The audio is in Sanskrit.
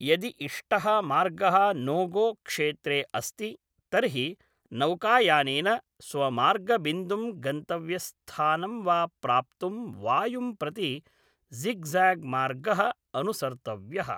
यदि इष्टः मार्गः नोगोक्षेत्रे अस्ति तर्हि नौकायानेन स्वमार्गबिन्दुं गन्तव्यस्थानं वा प्राप्तुं वायुं प्रति ज़िग ज़ैग्मार्गः अनुसर्तव्यः।